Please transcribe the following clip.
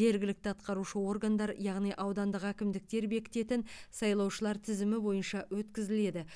жергілікті атқарушы органдар яғни аудандық әкімдіктер бекітетін сайлаушылар тізімі бойынша өткізіледі